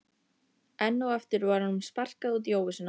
Enn og aftur var honum sparkað út í óvissuna.